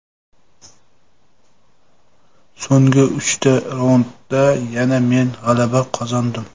So‘nggi uchta raundda yana men g‘alaba qozondim.